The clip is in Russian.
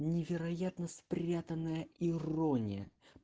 невероятно спрятанная ирония